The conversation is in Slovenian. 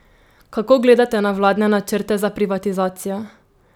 Kako gledate na vladne načrte za privatizacijo?